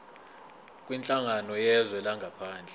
kwinhlangano yezwe langaphandle